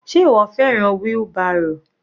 Sé ìwọ fẹ́ràn wheelbarrow?